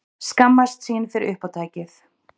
Skammast sín fyrir uppátækið.